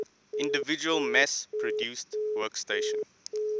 individual mass produced workstation